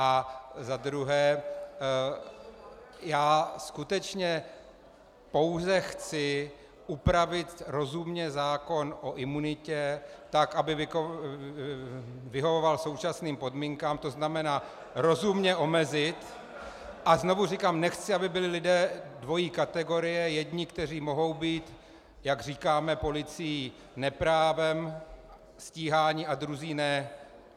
A za druhé, já skutečně pouze chci upravit rozumně zákon o imunitě tak, aby vyhovoval současným podmínkám, to znamená rozumně omezit - a znovu říkám, nechci, aby byli lidé dvojí kategorie, jedni, kteří mohou být, jak říkáme, policií neprávem stíhání, a druzí ne.